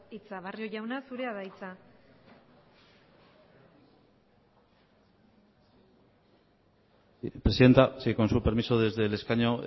hitza barrio jauna zurea da hitza presidenta sí con su permiso desde el escaño